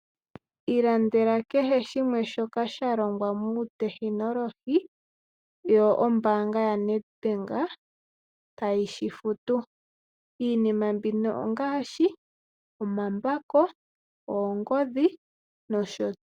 Ilandela keshe shimwe shoka sha longwa muutekinolohi yo ombaanga ya Nedbank ta yi shi futu. Iinima mbino ongaashi omambako, oongodhi nosho tuu.